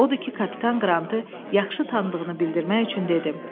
Odur ki, kapitan Qrantı yaxşı tanıdığını bildirmək üçün dedi.